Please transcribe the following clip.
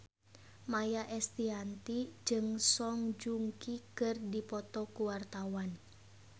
Maia Estianty jeung Song Joong Ki keur dipoto ku wartawan